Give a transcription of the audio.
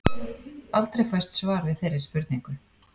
Aldrei fæst svar við þeirri spurningu.